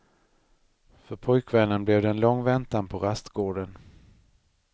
För pojkvännen blev det en lång väntan på rastgården.